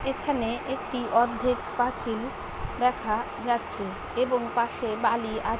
এখানে একটি অর্ধেক পাঁচিল দেখা যাচ্ছে এবং পাশে বালি আ --